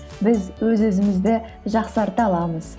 біз өз өзімізді жақсарта аламыз